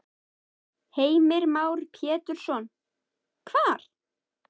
Heimir Már Pétursson: Hvar?